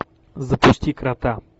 запусти крота